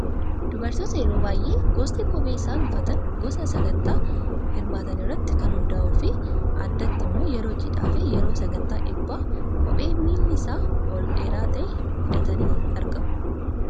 Dubartoota yeroo baay'ee gosti kophee isaan uffatan gosa sagantaa hirmaatanii irratti kan hundaa'uu fi addatti immoo yeroo cidhaa fi yeroo sagantaa eebbaa kophee miilli isaa ol dheeraa ta'e hidhatanii argamu.